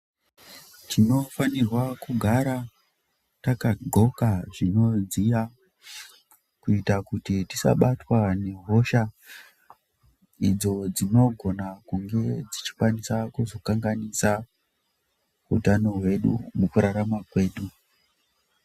Tinofanirwa kugara takaqoka zvinodziya kuita kuti tisabatwa nehosha idzo dzinogona kunge dzichikwanisa kuzokanganisa utano hwedu mukurarama kwedu.